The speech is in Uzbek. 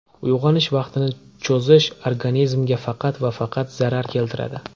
Uyg‘onish vaqtini cho‘zish organizmga faqat va faqat zarar keltiradi.